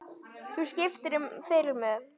Þú skiptir um filmu!